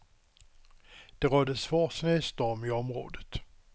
Det rådde svår snöstorm i området.